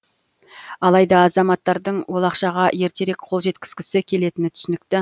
алайда азаматтардың ол ақшаға ертерек қол жеткізгісі келетіні түсінікті